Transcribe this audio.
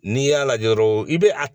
N'i y'a lajɛ dɔrɔn i bɛ a